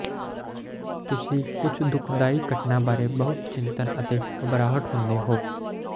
ਤੁਸੀਂ ਕੁਝ ਦੁਖਦਾਈ ਘਟਨਾ ਬਾਰੇ ਬਹੁਤ ਚਿੰਤਤ ਅਤੇ ਘਬਰਾਹਟ ਹੁੰਦੇ ਹੋ